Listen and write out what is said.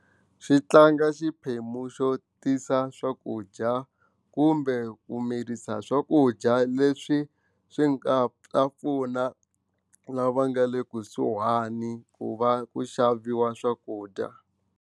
Xi tlanga xiphemu xo tisa swakudya kumbe ku mirisa swakudya leswi swi nga ta pfuna lava nga le kusuhani ku va ku xaviwa swakudya.